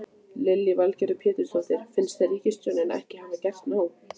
Lillý Valgerður Pétursdóttir: Finnst þér ríkisstjórnin ekki hafa gert nóg?